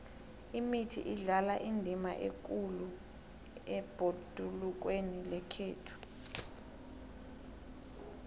imithi idlala indima ekhulu ebhodulukweni lekhethu